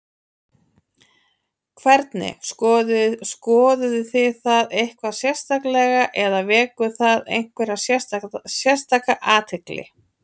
Hvernig, skoðuð þið það eitthvað sérstaklega eða vekur það einhverja sérstaka athygli?